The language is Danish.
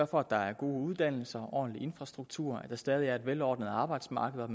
for at der er gode uddannelser en ordentlig infrastruktur at der stadig er et velordnet arbejdsmarked og at